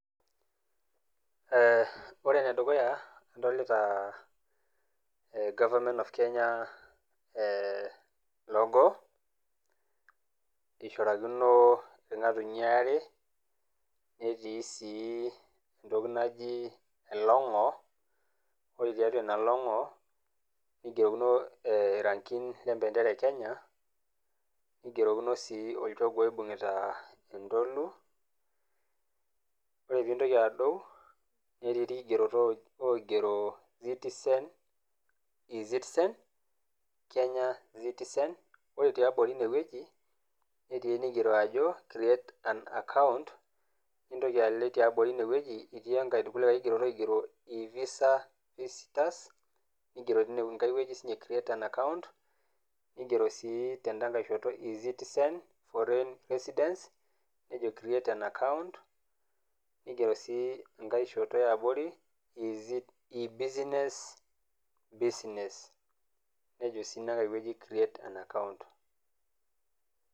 Ore ene dukuya adolita gorvernment of Kenya logo, eishrakino kuna tokitin are, netii sii entoki naji elong'o, ore tiatua ina long'o neigerokino irankin le empentera e Kenya, neichorakino sii olchogoo oibung'ita entolu, ore pee intoki adou, netii ilkigenetii ewueji rot oigero citizen, kenyan citizen ore te abori ine wueji, neigero ajo create an account, nintoki alo te abori ine wueji, etii enkai likai kigerot oigero e visa visitors, neigeroki sininye teine creste an account neigero sii tendaikai shoto eCitizen, foreign reisdents, neijo create an account, neigero sii enkai shoto e abori eBusiness, neijo sii inakai wueji create an account.